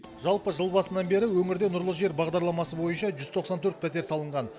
жалпы жыл басынан бері өңірде нұрлы жер бағдарламасы бойынша жүз тоқсан төрт пәтер салынған